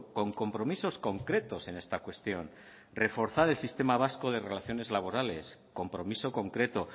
con compromisos concretos en esta cuestión reforzar el sistema vasco de relaciones laborales compromiso concreto